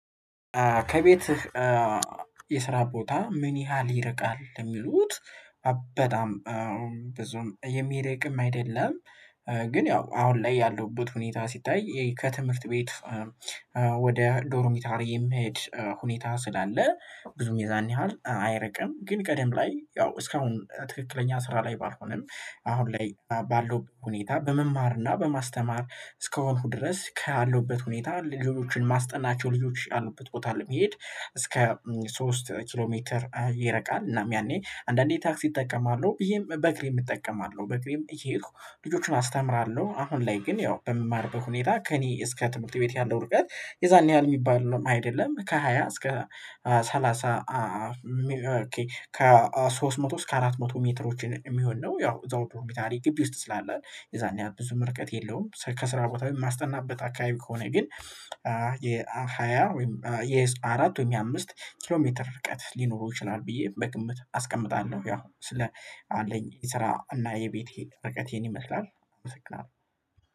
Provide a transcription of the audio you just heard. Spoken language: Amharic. ከቤትህ የስራ ቦታ ምን ያህል ይርቃል? የሚሉት በጣም ብዙም የሚርቅም አይደለም። ግን ያው አሁን ላይ ያለሁበት ሁኔታ ሲታይ ከትምህርት ቤት ወደ ዶርሚታሪ የሚሄድ ሁኔታ ስላለ ብዙም የዛን ያህል አይርቅም። ግን ቀደም ላይ ያው እስካሁን ትክክለኛ ስራ ላይ ባልሆንም አሁን ላይ ባለው ሁኔታ በመማርና በማስተማር እስከሆንኩ ድረስ ከያለሁበት ሁኔታ ልጆችን ማስጠናቸው ልጆች ያሉበት ቦታ ላይ እስከ ሶስት ኪሎ ሜትር ይርቃል እናም ያኔ አንዳንዴ ታክሲ እጠቀማለሁ ይሄም በእግሬም እጠቀማለሁ በእግሬም እየሄድኩ ልጆቹን አስተምራለሁ። አሁን ላይ ግን ያው በምማርበት ሁኔታ ከእኔ እስከ ትምህርት ቤት ያለው ርቀት የዛን ያህል የሚባል ነው አይደለም ከሃያ እስከ ሰላሳ ከሶስት መቶ እስከ አራት መቶ ሜትሮችን የሚሆን ነው። ያው እዛው ዶርሚታሪ ግቢ ውስጥ ስላለን የዛን ያን ብዙም ርቀት የለውም። ከስራ ቦታ የማስጠናበት አካባቢ ከሆነ ግን የሃያ ወይም የአራት የአምስት ኪሎ ሜትር ርቀት ሊኖሩ ይችላል ብዬ በግምት አስቀምጣለሁ። ያው ስለ አለኝ የስራ እና የቤቴ ርቀቴን ይመስላል። አመሰግናለሁ